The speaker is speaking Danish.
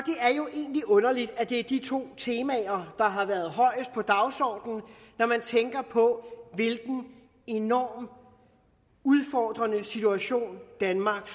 er jo egentlig underligt at det er de to temaer der har været højest på dagsordenen når man tænker på hvilken enormt udfordrende situation danmark